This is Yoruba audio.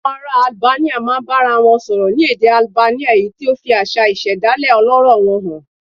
Àwọn ará Albania máa ń bára wọn sọ̀rọ̀ ní èdè Albania, èyí tó fi àṣà ìṣẹ̀dálẹ̀ ọlọ́rọ̀ wọn hàn